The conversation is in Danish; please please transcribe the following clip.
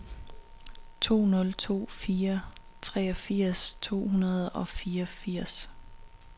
to nul to fire treogfirs to hundrede og fireogfirs